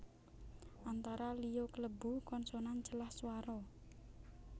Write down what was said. Antara liya klebu konsonan celah swara